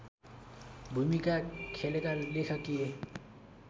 भूमिका खेलेका लेखकीय